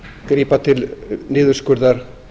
grípa til niðurskurðar